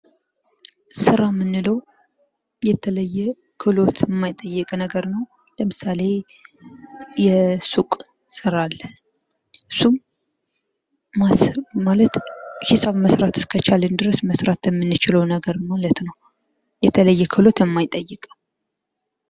ስራ የምንለው የተለየ ክህሎት የማይጠይቅ ነገር ነው ። ለምሳሌ የሱቅ ስራ አለ ። እሱም ማለት ሂሳብ መስራት እስከቻልን ድረስ መስራት የምንችለው ነገር ነው ማለት ነው ። የተለየ ክህሎት የማይጠይቅ ነው ።